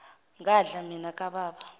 ngadla mina kababa